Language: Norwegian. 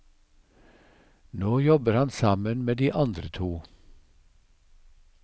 Nå jobber han sammen med de andre to.